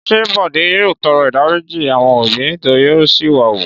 Ṣé Bọ̀dé yóò tọrọ ìdáríjì àwọn òbí nítorí ó ṣìwà wù?